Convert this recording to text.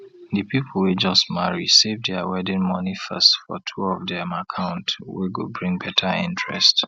di people wey just marry save their wedding money first for two of dem account wey go bring better interest